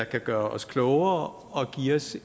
kan gøre os klogere og give os